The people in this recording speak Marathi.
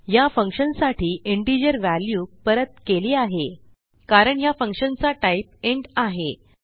या फंक्शन साठी इंटिजर व्हॅल्यू परत केली आहे कारण ह्या फंक्शन चा टाईप इंट आहे